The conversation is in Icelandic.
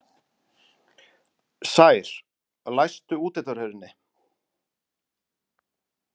Sær, læstu útidyrahurðinni.